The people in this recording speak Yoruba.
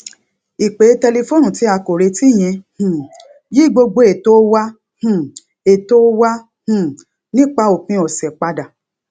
ìpè tẹlifóònù tí a kò retí yẹn um yí gbogbo ètò wa um ètò wa um nípa òpin òsè padà